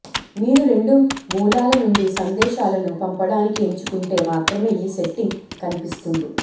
మీరు రెండు మూలాల నుండి సందేశాలను పంపడానికి ఎంచుకుంటే మాత్రమే ఈ సెట్టింగ్ కనిపిస్తుంది